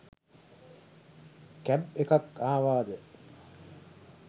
Cab එකත් ආවාද?